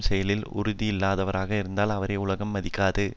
செயலில் உறுதியில்லாதவராக இருந்தால் அவரை உலகம் மதிக்காது